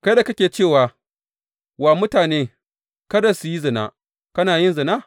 Kai da kake cewa wa mutane kada su yi zina, kana yin zina?